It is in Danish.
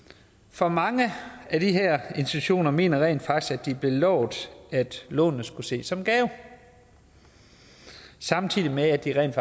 for mange af de her institutioner mener rent faktisk at de er blevet lovet at lånene skulle ses som en gave samtidig med at de rent